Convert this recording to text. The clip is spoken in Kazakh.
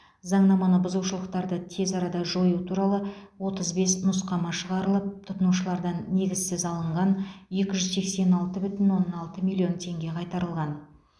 заңнаманы бұзушылықтарды тез арада жою туралы отыз бес нұсқама шығарылып тұтынушылардан негізсіз алынған екі жүз сексен алты бүтін оннан алты миллион теңге қайтарылған